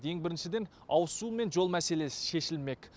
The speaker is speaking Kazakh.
ең біріншіден ауызсу мен жол мәселесі шешілмек